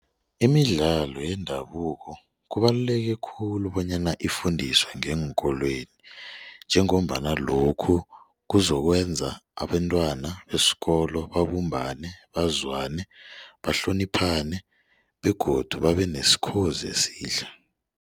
Imidlalo yendabuko kubaluleke khulu bonyana ifundiswe ngeenkolweni njengombana lokhu kuzokwenza abentwana besikolo babumbane, bazwane, bahloniphane begodu babenesikhozi esihle.